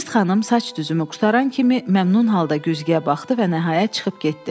Virt xanım saç düzümü qurtaran kimi məmnun halda güzgüyə baxdı və nəhayət çıxıb getdi.